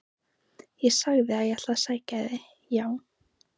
Ég sagði að ég ætlaði að sækja þig, já!